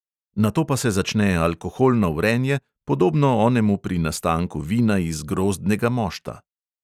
Nato pa se začne alkoholno vrenje, podobno onemu pri nastanku vina iz grozdnega mošta.